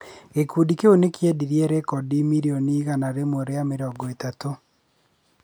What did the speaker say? Gĩkundi kĩu nĩ kĩendirie rekondi mirioni igana rĩmwe rĩa mĩrongo ĩtatũ.